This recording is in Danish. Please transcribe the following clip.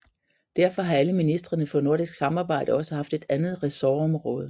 Derfor har alle ministrene for nordisk samarbejde også haft et andet ressortområde